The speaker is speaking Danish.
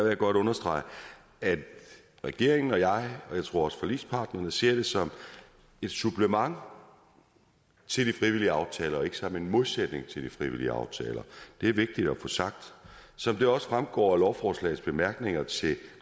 jeg godt understrege at regeringen og jeg jeg tror også forligspartnerne ser det som et supplement til de frivillige aftaler og ikke som en modsætning til de frivillige aftaler det er vigtigt at få sagt som det også fremgår af lovforslagets bemærkninger til